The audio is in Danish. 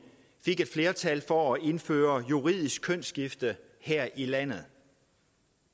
fik et flertal for at indføre juridisk kønsskifte her i landet